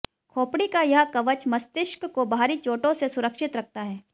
खोपड़ी का यह कवच मस्तिष्क को बाहरी चोटों से सुरक्षित रखता है